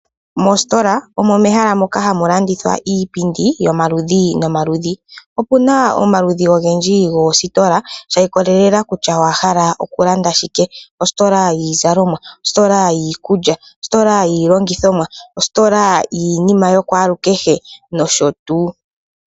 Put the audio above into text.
Mositola omo mehala moka hamu landithwa iipindi yomaludhi nomaludhi. Opu na omaludhi ogendji goositola sha ikolelela kutya owa hala okulanda shike. Ositola yiizalomwa, ositola yiikulya, ositola yiilongithomwa, ositola yiinima yakwalukehe nosho tuu.